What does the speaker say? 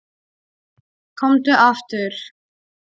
Komdu aftur.